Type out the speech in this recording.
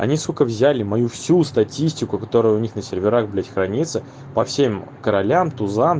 они сука взяли мою всю статистику которая у них на серверах блять хранится по всем королям тузам